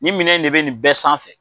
Ni minɛn de bɛ nin bɛɛ sanfɛ.